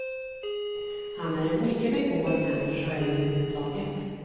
Han är en mycket begåvad människa över huvud taget.